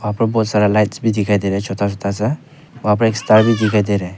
ऊपर बहोत सारा लाइट्स भी दिखाई दे रहे हैं छोटा छोटा सा वहां पे एक स्टार भी दिखाई दे रहा है।